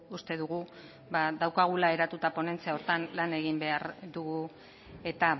uste dugu daukagula eratuta ponentzia horretan lan egin behar dugu eta